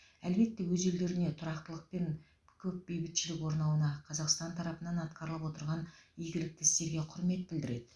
әлбетте өз елдеріне тұрақтылық пен көп бейбітшілік орнауына қазақстан тарапынан атқарылып отырған игілікті істерге құрмет білдіреді